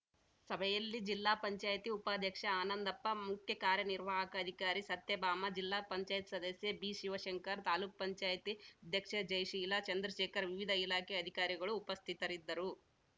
ಸಭೆಯಲ್ಲಿ ಜಿಲ್ಲಾ ಪಂಚಾಯಿತಿ ಉಪಾಧ್ಯಕ್ಷೆ ಆನಂದಪ್ಪ ಮುಖ್ಯಕಾರ್ಯನಿರ್ವಾಹಕ ಅಧಿಕಾರಿ ಸತ್ಯಭಾಮ ಜಿಲ್ಲಾ ಪಂಚಾಯಿತಿ ಸದಸ್ಯ ಬಿಶಿವಶಂಕರ್‌ ತಾಲ್ಲುಕು ಪಂಚಾಯತಿ ಅಧ್ಯಕ್ಷೆ ಜಯಶೀಲ ಚಂದ್ರಶೇಖರ್‌ ವಿವಿಧ ಇಲಾಖೆ ಅಧಿಕಾರಿಗಳು ಉಪಸ್ಥಿತರಿದ್ದರು